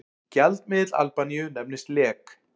Gjaldmiðill Albaníu nefnist lek.